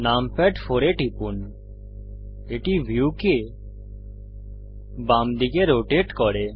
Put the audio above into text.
numpad 4 এ টিপুন এটি ভিউকে বাম দিকে রোটেট করে